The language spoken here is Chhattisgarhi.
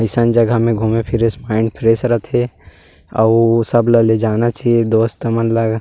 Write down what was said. अईसन जगह में घूमे फिरे से माइंड फ्रेश रहते हे आउ सब ला जेना चाहिए दोस्त हमन।